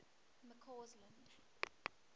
mccausland